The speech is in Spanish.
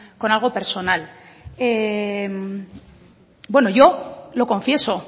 con algo personal bueno yo lo confieso